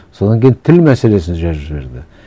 содан кейін тіл мәселесін жазып жіберді